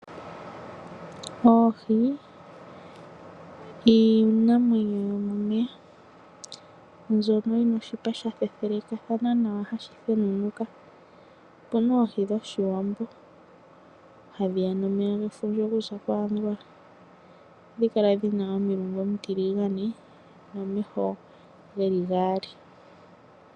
Oohi iinamwenyo yo momeya mbyono yi na oshipa sha fefethelakathana nawa hashi thenunuka, opu na oohi dhOshiwambo, hadhi ya nomeya gefundja okuza ko Angola. Ohadhi kala dhi na omilungu omitiligane nomeho ge li gaali.